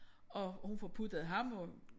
Og hun får puttet ham og